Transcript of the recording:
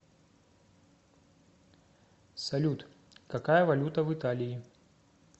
салют какая валюта в италии